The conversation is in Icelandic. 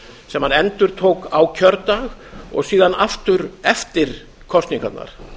sem hann endurtók á kjördag og síðan aftur eftir kosningarnar